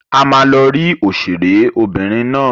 A ma lọ ri òṣèré obìnrin náà.